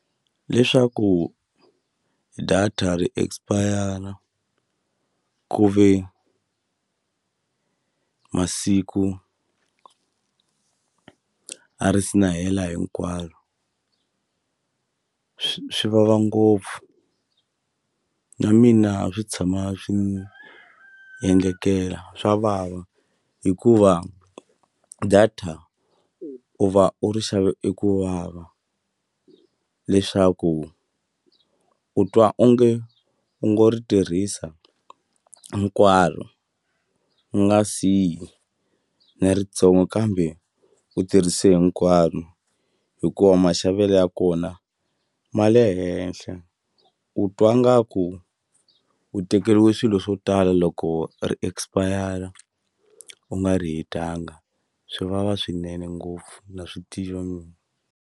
Leswaku data ri expire ku ve masiku a ri si na hela hinkwaro swivava ngopfu na mina swi tshama swi ni endlekela swa vava hikuva data u va u ri xave i ku vava leswaku u twa onge u ngo ri tirhisa hinkwaro u nga siyi na ritsongo kambe u tirhise hinkwaro hikuva maxavelo ya kona ma le henhla u twa ngaku u tekeliwe swilo swo tala loko ri expire u nga ri hetanga swi vava swinene ngopfu na swi tiva mina.